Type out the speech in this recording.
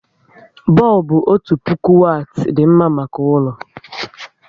Bọlbụ otu puku wati dị mma maka ụlọ